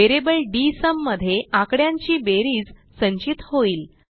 variable डीएसयूम मध्ये आकड्यांची बेरीज संचित होईल